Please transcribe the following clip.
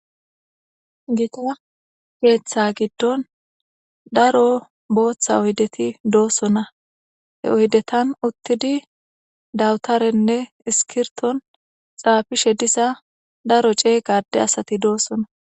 Gitta ketha giidon daro botha oyideti do'sona he oyidetan utidi dawutarene isikirito xapishe diza daro cega ade asati de'osona